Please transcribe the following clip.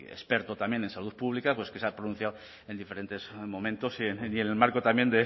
experto también en salud pública pues que se ha pronunciado en diferentes momentos y en el marco también